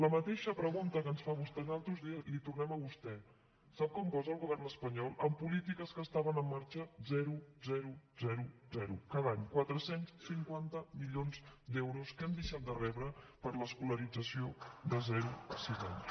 la mateixa pregunta que ens fa vostè a nosaltres la hi tornem a vostè sap quan posa el govern espanyol en polítiques que estaven en marxa zero zero zero zero cada any quatre cents i cinquanta milions d’euros que hem deixat de rebre per a l’escolarització de zero a sis anys